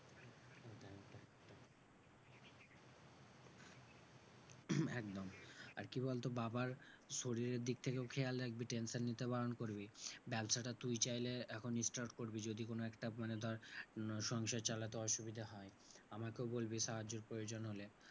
একদম। আর কি বলতো? বাবার শরীরের দিকটাকেও খেয়াল রাখবি tension নিতে বারণ করবি। ব্যাবসাটা তুই চাইলে এখনই start করবি। যদি কোনো একটা মানে ধর কোনো সংসার চালাতে অসুবিধা হয়। আমাকেও বলবি সাহায্যের প্রয়োজন হলে।